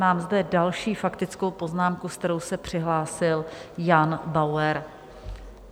Mám zde další faktickou poznámku, se kterou se přihlásil Jan Bauer.